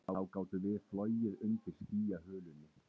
Þá gátum við flogið undir skýjahulunni